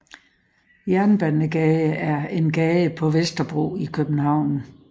Jernbanegade er en gade på Vesterbro i København